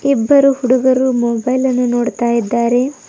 ಇಬ್ಬರು ಹುಡುಗರು ಮೊಬೈಲ್ ಅನ್ನು ನೋಡ್ತಾಯಿದಾರೆ.